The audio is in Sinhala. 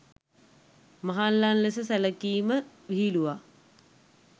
මහල්ලන් ලෙස සැලකීම විහිළුවක්.